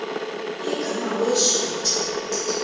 igama wee shwaca